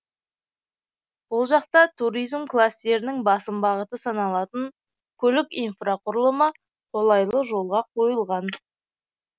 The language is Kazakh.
бұл жақта туризм кластерінің басым бағыты саналатын көлік инфрақұрылымы қолайлы жолға қойылған